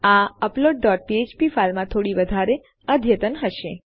આ upload dot ફ્ફ્પ file માં થોડી વધારે અદ્યતન હશે